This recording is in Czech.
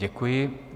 Děkuji.